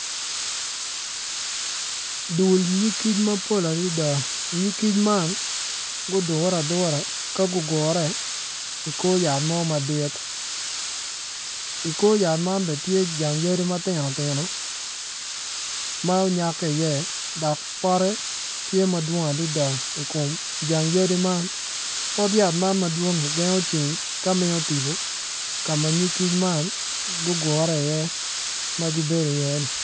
Dul nyig kic mapol adada nyig kic man gudure adura ka gugure i kor yat mo madit i kor yat man bene tye jang yadit ma tino tino ma onyak ki iye dokpote tye i kome i jang yadi man.